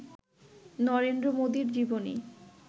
নরেন্দ্র মোদীর জীবনী